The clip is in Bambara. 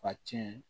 Ka tiɲɛ